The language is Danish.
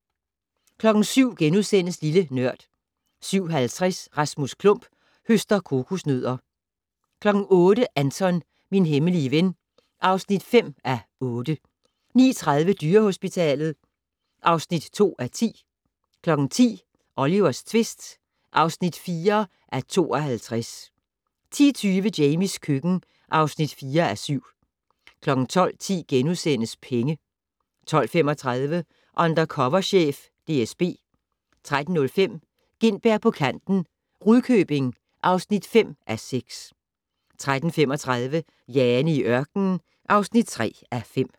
07:00: Lille Nørd * 07:50: Rasmus Klump høster kokosnødder 08:00: Anton - min hemmelige ven (5:8) 09:30: Dyrehospitalet (2:10) 10:00: Olivers tvist (4:52) 10:20: Jamies køkken (4:7) 12:10: Penge * 12:35: Undercover chef - DSB 13:05: Gintberg på kanten - Rudkøbing (5:6) 13:35: Jane i ørkenen (3:5)